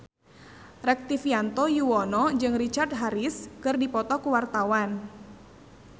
Rektivianto Yoewono jeung Richard Harris keur dipoto ku wartawan